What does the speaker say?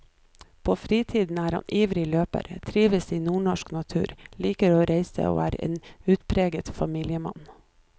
På fritiden er han ivrig løper, trives i nordnorsk natur, liker å reise og er en utpreget familiemann.